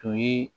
Tun ye